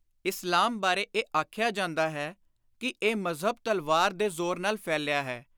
ਇਸਲਾਮ ਬਾਰੇ ਇਹ ਆਖਿਆ ਜਾਂਦਾ ਹੈ ਕਿ ਇਹ ਮਜ਼ਹਬ ਤਲਵਾਰ ਦੇ ਜ਼ੋਰ ਨਾਲ ਫੈਲਿਆ ਹੈ।